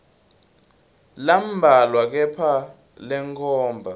lambalwa kepha lenkhomba